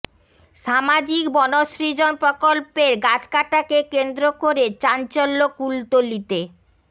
সামাজিক বনসৃজন প্রকল্পের গাছ কাটাকে কেন্দ্র করে চাঞ্চল্য কুলতলিতে